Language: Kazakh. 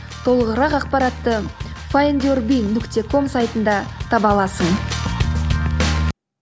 толығырақ ақпаратты файндюрби нүкте ком сайтында таба аласың